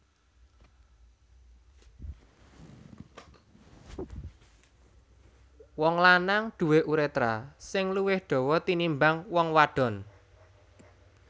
Wong lanang duwé urétra sing luwih dawa tinimbang wong wadon